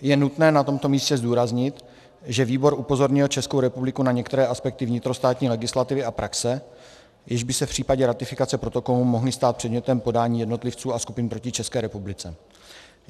Je nutné na tomto místě zdůraznit, že výbor upozornil Českou republiku na některé aspekty vnitrostátní legislativy a praxe, jež by se v případě ratifikace protokolu mohly stát předmětem podání jednotlivců a skupin proti České republice.